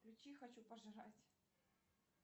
включи хочу пожрать